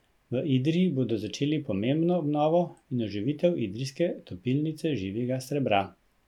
V Idriji bodo začeli pomembno obnovo in oživitev idrijske topilnice živega srebra.